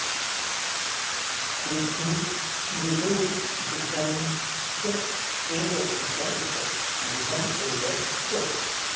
पृथुं मृदुं भृशं च एव कृशं च दृढम् एव च